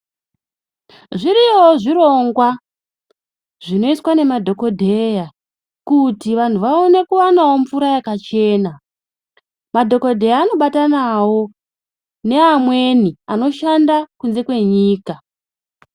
Zviriyo zvirongwa zvinoiswa nemadhokodheya, kuti vantu vawane kuwanawo mvura yakachena. Madhokodheya anobatanawo ne amweni anoshanda kunze kwenyika.